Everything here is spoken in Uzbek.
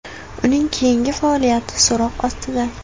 Uning keyingi faoliyati so‘roq ostida.